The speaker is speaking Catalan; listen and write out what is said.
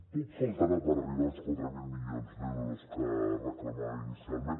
poc faltarà per arribar als quatre mil milions d’euros que es reclamaven inicialment